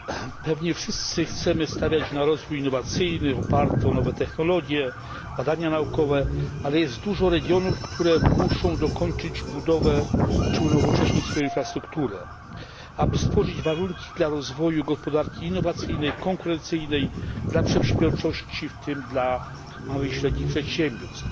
Pewnie wszyscy chcemy stawiać na rozwój innowacyjny oparty o nowe technologie, badania naukowe, ale jest dużo regionów, które muszą dokończyć budowę czy unowocześnić swoją infrastrukturę, aby stworzyć warunki dla rozwoju gospodarki innowacyjnej, konkurencyjnej, dla przedsiębiorczości, w tym dla małych i średnich przedsiębiorstw.